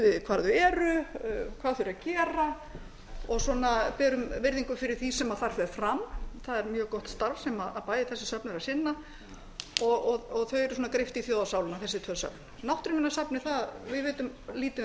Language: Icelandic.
við hvar þau eru hvað þau eru að gera og svona berum virðingu fyrir því sem þar fer fram það er mjög gott starf sem bæði þessi söfn eru að sinna og þau eru svona greypt í þjóðarsálina þessi tvö söfn náttúruminjasafnið við vitum lítið um